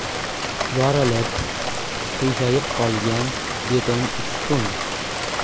Yorilib, qiyshayib qolgan beton ustun.